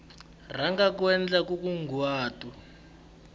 rhanga u endla nkunguhato u